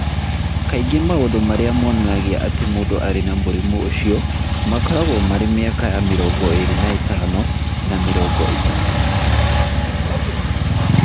Kaingĩ maũndũ marĩa monanagia atĩ mũndũ arĩ na mũrimũ ũcio makoragwo marĩ mĩaka ya mĩrongo ĩĩrĩ na ĩtano na mĩrongo ĩtatũ.